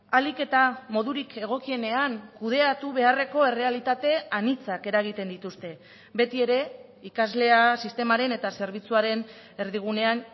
ahalik eta modurik egokienean kudeatu beharreko errealitate anitzak eragiten dituzte betiere ikaslea sistemaren eta zerbitzuaren erdigunean